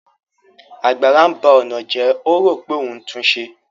Àgbàrá ńba ọ̀nà jẹ́, ó rò pé òun ńtún un ṣe